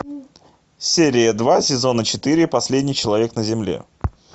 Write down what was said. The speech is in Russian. серия два сезона четыре последний человек на земле